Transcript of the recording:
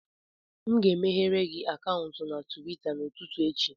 M ga-emeghere gị akaụntụ na Tuweeta n'ụtụtụ echi